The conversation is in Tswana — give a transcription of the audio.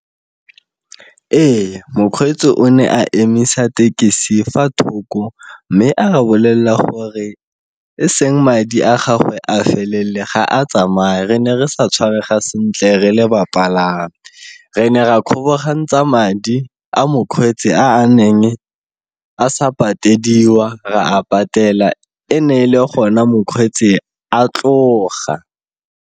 Ee, mokgweetsi o ne a emisa tekesi fa thoko mme a re bolelela gore, e seng madi a gagwe a felele ga a tsamaye, re ne re sa tshwarega sentle re le bapalami re ne ra kgobokantsa madi a mokgweetsi a neng a sa patedisa, ra a patela, e ne e le gona mokgweetsi a tloga.